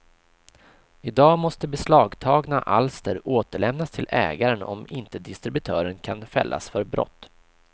I dag måste beslagtagna alster återlämnas till ägaren om inte distributören kan fällas för brott.